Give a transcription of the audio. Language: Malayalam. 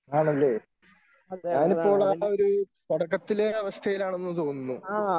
ആണല്ലേ ഞാനിപ്പോളാ ഒരു തുടക്കത്തിലെ അവസ്ഥയിലാണെന്ന് തോന്നുന്നു.